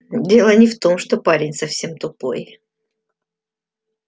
дело не в том что парень совсем тупой